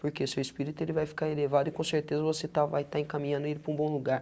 Porque seu espírito ele vai ficar elevado e com certeza você está vai estar encaminhando ele para um bom lugar.